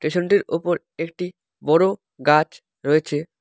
Station -টির ওপর একটি বড় গাছ রয়েছে।